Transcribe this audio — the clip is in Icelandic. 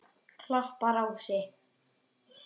Klapparási